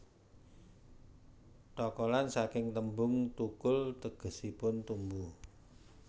Thokolan saking tembung thukul tegesipun tumbuh